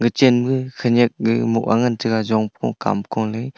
chenma khanyek gehmoh ah ngan taiga jongphoh kamko le.